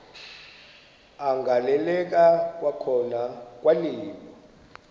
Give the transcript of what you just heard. agaleleka kwakhona kwaliwa